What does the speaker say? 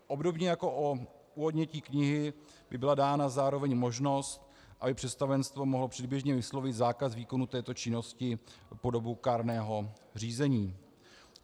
Obdobně jako u odnětí knihy by byla dána zároveň možnost, aby představenstvo mohlo předběžně vyslovit zákaz výkonu této činnosti po dobu kárného řízení.